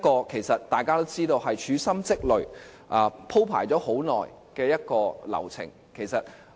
其實，大家都知道，這個是處心積慮、鋪排了很久的流程。